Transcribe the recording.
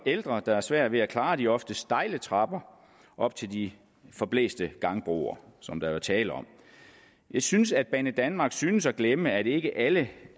ældre der har svært ved at klare de oftest stejle trapper op til de forblæste gangbroer som der er tale om jeg synes at banedanmark synes at glemme at ikke alle